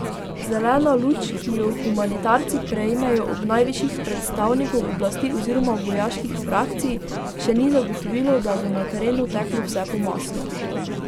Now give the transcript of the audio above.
Zelena luč, ki jo humanitarci prejmejo od najvišjih predstavnikov oblasti oziroma vojaških frakcij, še ni zagotovilo, da bo na terenu teklo vse po maslu.